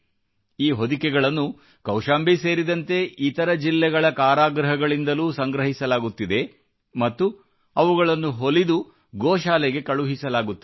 ಈ ಹೊದಿಕೆಗಳನ್ನು ಕೌಶಂಬಿ ಸೇರಿದಂತೆ ಇತರ ಜಿಲ್ಲೆಗಳ ಕಾರಾಗೃಹಗಳಿಂದಲೂ ಸಂಗ್ರಹಿಸಲಾಗುತ್ತಿದೆ ಮತ್ತು ಅವುಗಳನ್ನು ಹೊಲಿದು ಗೋಶಾಲೆಗೆ ಕಳುಹಿಸಲಾಗುತ್ತದೆ